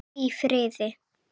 Hvíl í friði!